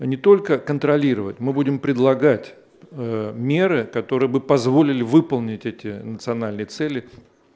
не только контролировать мы будем предлагать меры которые бы позволили выполнить эти национальные цели